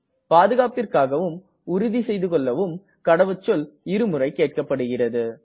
பாதுகாப்பிற்க்காகவும் உறுதி செய்துகெள்ளவும் கடவுச்சொல் இரு முறை கேட்கப்படுகிறது